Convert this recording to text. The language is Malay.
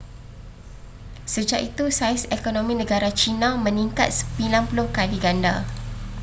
sejak itu saiz ekonomi negara china meningkat 90 kali ganda